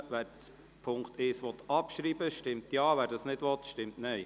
Wer den Punkt 1 abschreiben will, stimmt Ja, wer dies nicht will, stimmt Nein.